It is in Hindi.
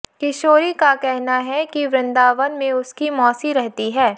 किशोरी का कहना है कि वृन्दावन में उसकी मौसी रहती है